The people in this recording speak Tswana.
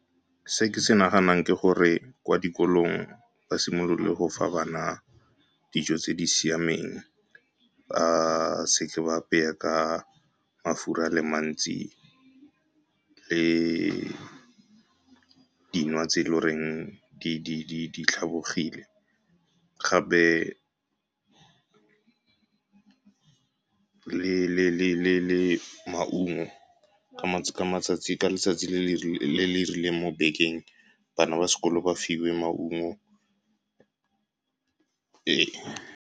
Se ke se naganang ke gore kwa dikolong ba simolole go fa bana dijo tse di siameng, ba seke ba apeye ka mafura a le mantsi le dinwa tse eleng gore di tlhabogile, gape le maungo ka letsatsi le le rileng mo bekeng, bana ba sekolo ba fiwe maungo. Ee.